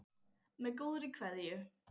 Með góðri kveðju.